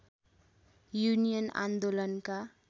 union आन्दोलनका